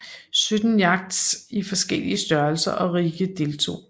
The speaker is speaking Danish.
Sytten yachts i forskellige størrelser og rigge deltog